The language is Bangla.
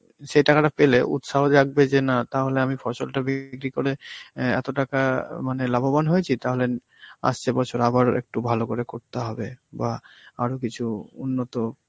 সেই টাকাটা পেলে উৎসাহ জাগবে যে না তাহলে আমি ফসলটা বিক্রি করে অ্যাঁ এত টাকা আঁ মানে লাভবান হয়েছি তাহলে ন~ আসছে বছর আবার একটু ভালো করে করতে হবে, বা আরো কিছু উন্নত